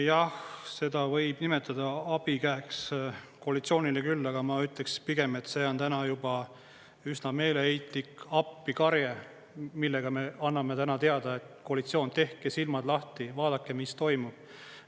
Jah, seda võib nimetada abikäeks koalitsioonile küll, aga ma ütleks pigem, et see on täna juba üsna meeleheitlik appikarje, millega me anname täna teada: "Koalitsioon, tehke silmad lahti, vaadake, mis toimub.